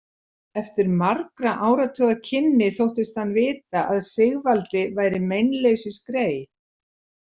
Eftir margra áratuga kynni þóttist hann vita að Sigvaldi væri meinleysisgrey.